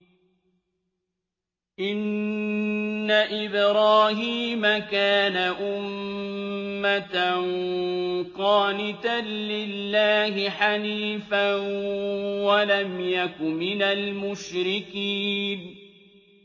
إِنَّ إِبْرَاهِيمَ كَانَ أُمَّةً قَانِتًا لِّلَّهِ حَنِيفًا وَلَمْ يَكُ مِنَ الْمُشْرِكِينَ